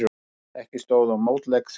Ekki stóð á mótleik Þjóðverja.